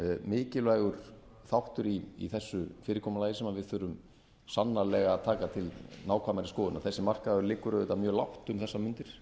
mikilvægur þáttur í þessu fyrirkomulagi sem við þurfum sannarlega að taka til nákvæmari skoðunar þessi markaður liggur auðvitað mjög lágt um þessar mundir